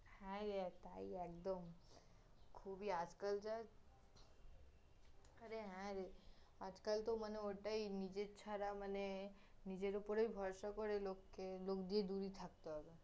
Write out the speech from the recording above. হ্যাঁ, এটাই, একদম খুবই, আজকাল যার আরে, হ্যাঁরে, আজকাল তহ মানে ওটাই নিজের ছারা, মানে, নিজের উপরই ভরসা করে লোককে, লোক দিয়ে দূরই থাকতে হবে